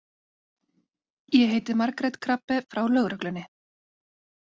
Ég heiti Margrét Krabbe frá lögreglunni.